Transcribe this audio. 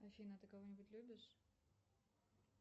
афина ты кого нибудь любишь